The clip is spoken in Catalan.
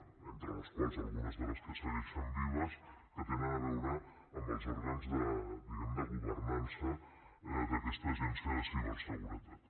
entre les quals algunes de les que segueixen vives que tenen a veure amb els òrgans diguem ne de governança d’aquesta agència de ciberseguretat